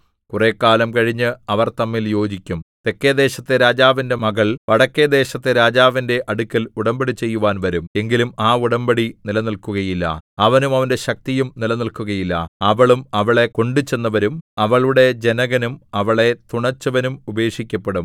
കുറെക്കാലം കഴിഞ്ഞ് അവർ തമ്മിൽ യോജിക്കും തെക്കെദേശത്തെ രാജാവിന്റെ മകൾ വടക്കെദേശത്തെ രാജാവിന്റെ അടുക്കൽ ഉടമ്പടി ചെയ്യുവാൻ വരും എങ്കിലും ആ ഉടമ്പടി നിലനില്‍ക്കുകയില്ല അവനും അവന്റെ ശക്തിയും നിലനിൽക്കുകയില്ല അവളും അവളെ കൊണ്ടുചെന്നവരും അവളുടെ ജനകനും അവളെ തുണച്ചവനും ഉപേക്ഷിക്കപ്പെടും